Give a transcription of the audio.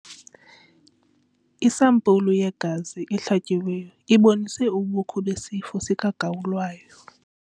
Isampulu yegazi ehlatyiweyo ibonise ubukho besifo sikagawulayo.